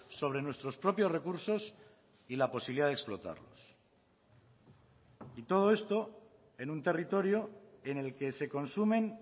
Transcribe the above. sobre nuestros propios recursos y la posibilidad de explotarlos y todo esto en un territorio en el que se consumen